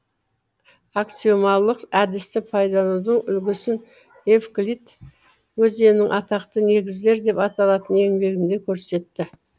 аксиомалық әдісті пайдаланудың үлгісін евклид өзенінің атақты негіздер деп аталатын еңбегінде көрсетті